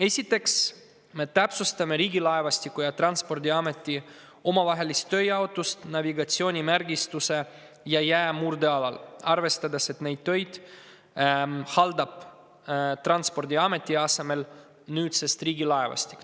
Esiteks täpsustame Riigilaevastiku ja Transpordiameti omavahelist tööjaotust navigatsioonimärgistuse ja jäämurde alal, arvestades, et neid töid haldab Transpordiameti asemel nüüdsest Riigilaevastik.